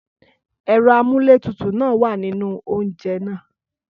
Ẹ̀rọ amúlétutù náà wà nínú oúnjẹ náà.